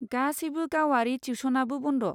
गासैबो गावारि टिउस'नाबो बन्द।